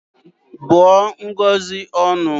Bụọ Ngozi ọnụ!